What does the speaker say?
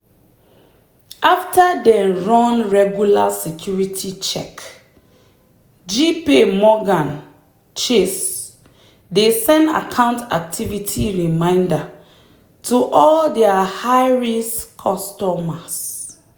after dem run regular security check jpmorgan chase dey send account activity reminder to all their high-risk customers.